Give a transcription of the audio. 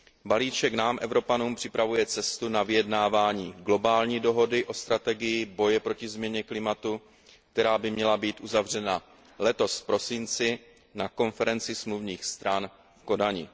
Balíček nám, Evropanům, připravuje cestu na vyjednávání globální dohody o strategii boje proti změně klimatu, která by měla být uzavřena letos v prosinci na konferenci smluvních stran v Kodani.